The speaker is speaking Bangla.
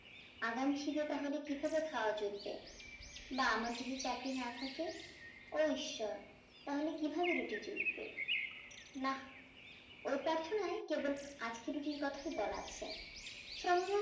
আগামী সিবে তাহলে কিভাবে খাওয়া জুটবে বা আমার যদি চাকরি না থাকে ও ঈশ্বর তাহলে কিভাবে রুটি ঝুটবে না ও প্রার্থনায় কেবল আজকের রুটির কোথায় বলা আছে